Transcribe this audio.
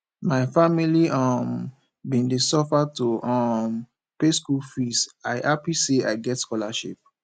my family um bin dey suffer to um pay skool fees i hapi sey i get scholarship